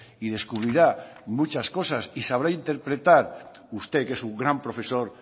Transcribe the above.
y descubrirá muchas cosas y sabrá interpretar usted que es un gran profesor